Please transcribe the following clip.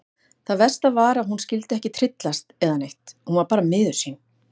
Það versta var að hún skyldi ekki tryllast eða neitt, hún var bara miður sín.